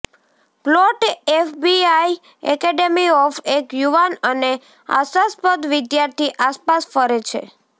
plot FBI academy of એક યુવાન અને આશાસ્પદ વિદ્યાર્થી આસપાસ ફરે છે